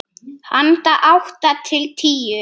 Handa átta til tíu